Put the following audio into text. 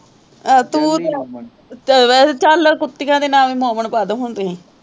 ਅਹ ਤੂੰ ਤੇ ਰਮਨ, ਚੱਲ ਕੁੱਤੀਆਂ ਦੇ ਨਾਮ ਵੀ ਮਮਨ ਪਾ ਦਿਉ ਹੁਣ ਤੁਸੀਂ